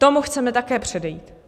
Tomu chceme také předejít.